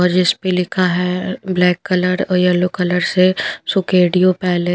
और जिस पे लिखा है अ ब्लैक कलर और येलो कलर से सुकेडियो पैले --